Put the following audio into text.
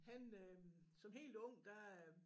Han øh som helt ung der